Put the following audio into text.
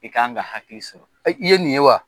I k'an ka hakili sɔrɔ. I ye nin ye wa?